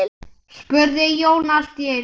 spurði Jón allt í einu.